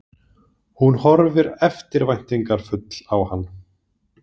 Hún horfir eftirvæntingarfull á hann.